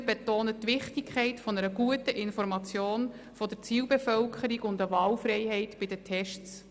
Wir betonen die Wichtigkeit einer guten Information der Zielbevölkerung und der Wahlfreiheit bei den Tests.